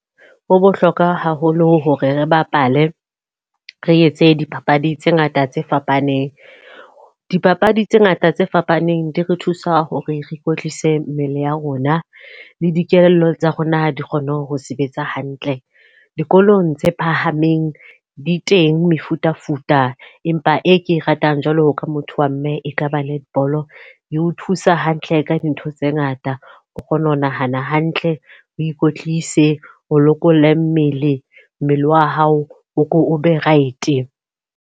Ho bohlokwa haholo hore re bapale, re etse dipapadi tse ngata tse fapaneng. Dipapadi tse ngata tse fapaneng di re thusa hore re kwetlise mmele ya rona, le dikelello tsa rona di kgone ho sebetsa hantle. Dikolong tse phahameng di teng mefutafuta empa e ke e ratang jwalo ka motho wa mme e kaba netball. E o thusa hantle ka dintho tse ngata, o kgona ho nahana hantle, o ikwetlise, o lokolle mmele mmele wa hao, o be right.